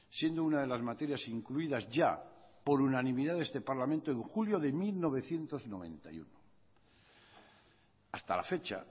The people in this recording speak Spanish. siendo una de las materias incluidas ya por unanimidad de este parlamento en julio de mil novecientos noventa y uno hasta la fecha